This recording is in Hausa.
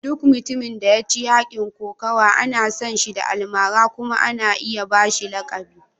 Duk mutumin da ya ci yakin kokawa ana san shi da almara kuma ana iya ba shi lakabi.